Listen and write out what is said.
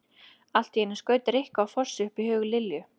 Allt í einu skaut Rikku á Fossi upp í huga Lillu.